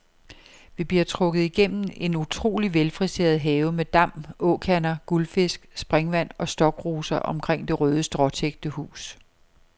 Vi bliver trukket igennem en utroligt velfriseret have med dam, åkander, guldfisk, springvand og stokroser omkring det røde, stråtækte hus.